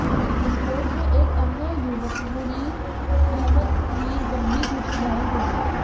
विस्फोट में एक अन्य युवक मुनीर अहमद मीर गंभीर रूप से घायल हो गया